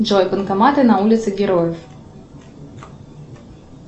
джой банкоматы на улице героев